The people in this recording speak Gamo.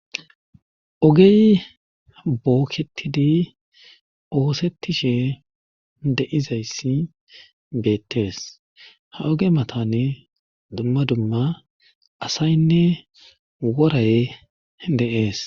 Ogey bookketidi oosettishe de7izayssi beettees ha oge matane dumma dumma asaynne woray deees